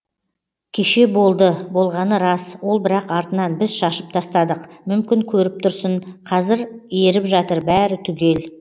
кеше болды болғаны рас ол бірақ артынан біз шашып тастадық мүмкін көріп тұрсын казір еріп жатыр бәрі түгел